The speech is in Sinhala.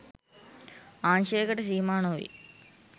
අංශයකට සීමා නොවේ.